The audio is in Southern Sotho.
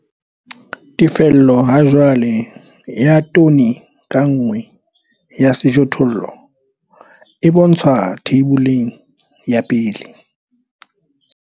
Tefello hajwale ya tone ka nngwe ya sejothollo e bontshwa Theiboleng ya 1.